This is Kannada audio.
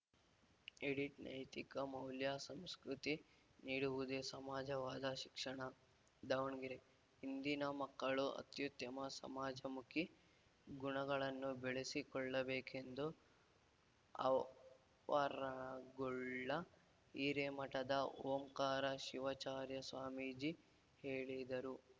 ಎಡಿಟ್‌ ನೈತಿಕ ಮೌಲ್ಯ ಸಂಸ್ಕೃತಿ ನೀಡುವುದೇ ನಿಜವಾದ ಶಿಕ್ಷಣ ದಾವಣಗೆರೆ ಇಂದಿನ ಮಕ್ಕಳು ಅತ್ಯುತ್ತಮ ಸಮಾಜಮುಖಿ ಗುಣಗಳನ್ನು ಬೆಳೆಸಿಕೊಳ್ಳಬೇಕೆಂದು ಆವರಗೊಳ್ಳ ಹಿರೇಮಠದ ಓಂಕಾರ ಶಿವಾಚಾರ್ಯ ಸ್ವಾಮೀಜಿ ಹೇಳಿದರು